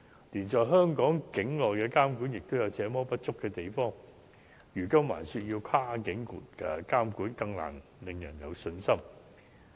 連在香港境內的監管也有這麼多不足，如今還說要跨境監管，就更難令人有信心。